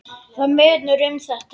Það munar um þetta.